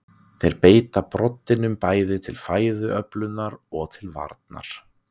Þeir beita broddinum bæði til fæðuöflunar og til varnar.